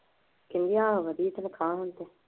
ਕਹਿੰਦੀ ਏ ਵਧੀਆ ਤਨਖਾਹ ਮੇਰੀ ਤਾਂ।